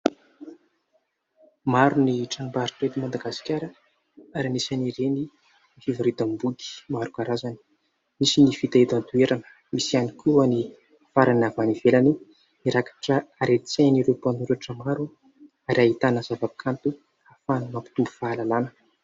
Maro ny tranom-barotra eto Madagasikara ary anisan'ireny ny fivarotam-boky maro karazany ; misy ny vita eto an-toerana, misy ihany koa ny hafarana avy any ivelany. Mirakitra haren-tsain'ireo mpanoratra maro ary ahitana zava-kanto ary mampitombo fahalalàna.